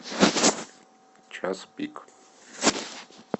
час пик